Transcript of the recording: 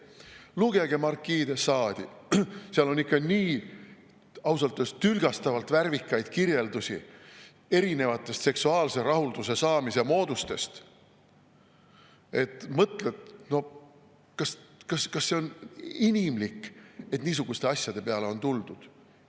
Lugege markii de Sade'i, seal on ausalt öeldes ikka nii tülgastavalt värvikaid kirjeldusi erinevatest seksuaalse rahulduse saamise moodustest, et mõtled, kas see on inimlik, et niisuguste asjade peale on tuldud.